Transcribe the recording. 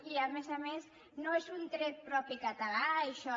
i a més a més no és un tret propi català això